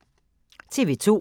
TV 2